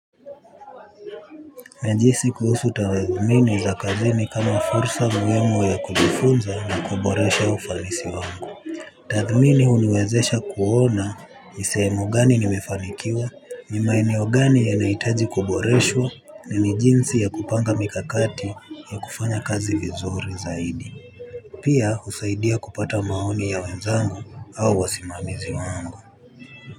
Najihisi kuhusu tathmini za kazini kama fursa muhimu ya kujifunza na kuboresha ufanisi wangu. Tathmini huniwezesha kuona ni sehemu gani nimefanikiwa, ni maeneo gani yanahitaji kuboreshwa na ni jinsi ya kupanga mikakati ya kufanya kazi vizuri zaidi. Pia husaidia kupata maoni ya wenzangu au wasimamizi wangu.